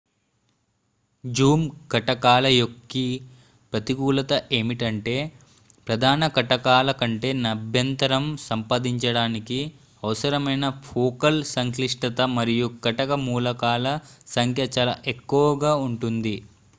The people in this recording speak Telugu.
జూమ్ కటకాల యొక్క ప్రతికూలత ఏమిటంటే ప్రధాన కటకాల కంటే నాభ్యంతరం సాధించడానికి అవసరమైన ఫోకల్ సంక్లిష్టత మరియు కటక మూలకాల సంఖ్య చాలా ఎక్కువగా ఉంటుంది